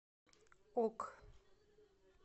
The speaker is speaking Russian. ок